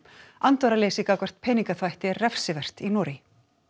andvaraleysi gagnvart peningaþvætti er refsivert í Noregi